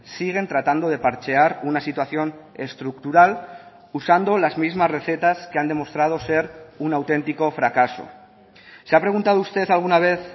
siguen tratando de parchear una situación estructural usando las mismas recetas que han demostrado ser un auténtico fracaso se ha preguntado usted alguna vez